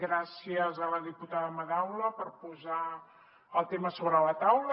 gràcies a la diputada madaula per posar el tema sobre la taula